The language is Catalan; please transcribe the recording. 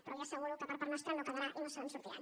però li asseguro que per part nostra no quedarà i no se’n sortiran